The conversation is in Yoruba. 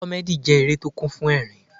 Comedy jẹ́ eré tó kún fún ẹ̀rín.